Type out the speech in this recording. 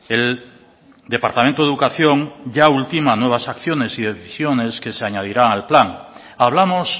el departamento de educación ya ultima nuevas acciones y decisiones que se añadirá al plan hablamos